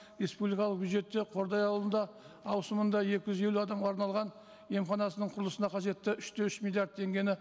республикалық бюджетте қордай ауылында ауысымында екі жүз елу адамға арналған емханасының құрылысына қажетті үш те үш миллиард теңгені